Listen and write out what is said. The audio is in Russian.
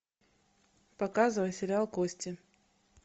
показывай сериал кости